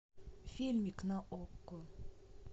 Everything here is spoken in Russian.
фильмик на окко